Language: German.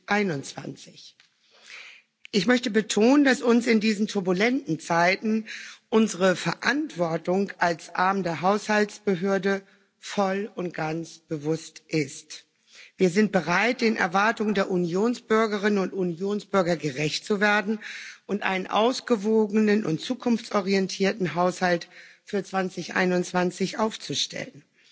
2021. Ich möchte betonen, dass uns in diesen turbulenten Zeiten unsere Verantwortung als Arm der Haushaltsbehörde voll und ganz bewusst ist. Wir sind bereit, den Erwartungen der Unionsbürgerinnen und Unionsbürger gerecht zu werden und einen ausgewogenen und zukunftsorientierten Haushalt für 2021 aufzustellen.